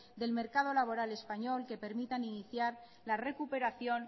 del mercado laboral español que permitan iniciar la recuperación